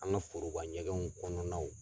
An ka foroba ɲɛgɛnw kɔnɔnaw.